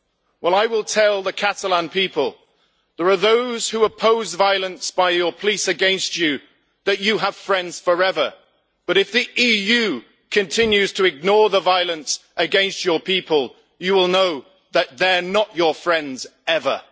Well, I will tell the Catalan people there are those who oppose violence by your police against you, and they are your friends forever, but if the EU continues to ignore the violence against your people, you will know that they are not your friends ever.